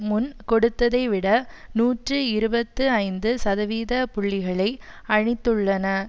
முன் கொடுத்ததைவிட நூற்றி இருபத்தி ஐந்து சதவீத புள்ளிகளை அளித்துள்ளன